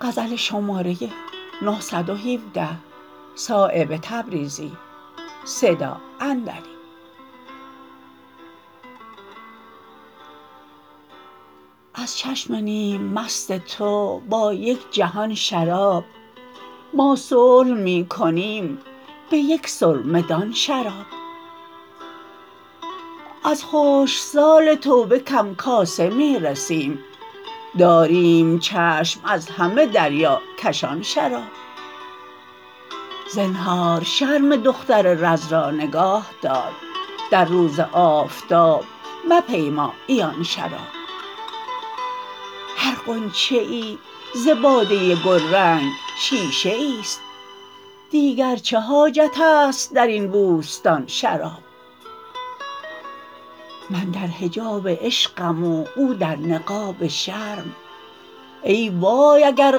از چشم نیم مست تو با یک جهان شراب ما صلح می کنیم به یک سرمه دان شراب از خشکسال توبه کم کاسه می رسیم داریم چشم از همه دریاکشان شراب زنهار شرم دختر رز را نگاه دار در روز آفتاب مپیما عیان شراب هر غنچه ای ز باده گلرنگ شیشه ای است دیگر چه حاجت است درین بوستان شراب من در حجاب عشقم و او در نقاب شرم ای وای اگر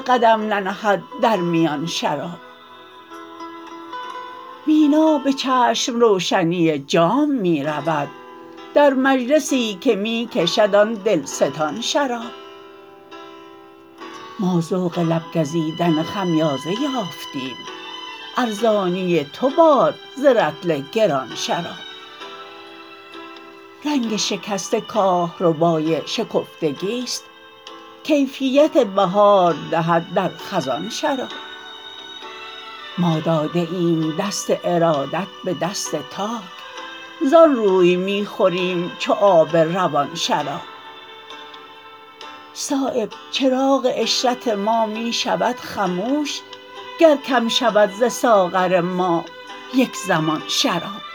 قدم ننهد در میان شراب مینا به چشم روشنی جام می رود در مجلسی که می کشد آن دلستان شراب ما ذوق لب گزیدن خمیازه یافتیم ارزانی تو باد ز رطل گران شراب رنگ شکسته کاهربای شکفتگی است کیفیت بهار دهد در خزان شراب ما داده ایم دست ارادت به دست تاک زان روی می خوریم چو آب روان شراب صایب چراغ عشرت ما می شود خموش گر کم شود ز ساغر ما یک زمان شراب